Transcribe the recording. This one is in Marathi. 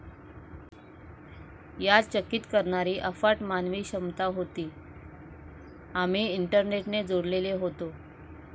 यात चकित करणारी अफाट मानवी क्षमता होती. आम्ही इंटरनेटने जोडलेले होतो.